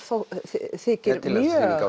þykir mjög